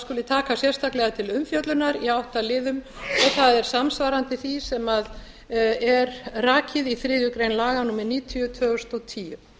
skuli taka sérstaklega til umfjöllunar í átta liðum og það er samsvarandi því sem er rakið í þriðju grein laga númer níutíu tvö þúsund og tíu